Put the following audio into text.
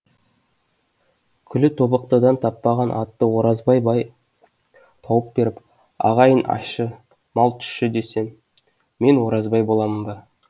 күллі тобықтыдан таппаған атты оразбай бай тауып беріп ағайын ащы мал тұщы десем мен оразбай боламын ба